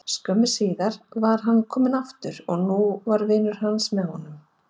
Skömmu síðar var hann kominn aftur og nú var vinur hans með honum.